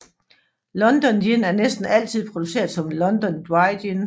London Gin er næsten altid produceret som London Dry Gin